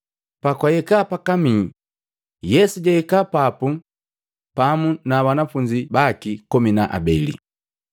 Pakwahika pakamii, Yesu jahika papu pamu na banafunzi baki komi na habeli.